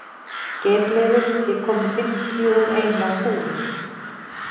Geirleifur, ég kom með fimmtíu og eina húfur!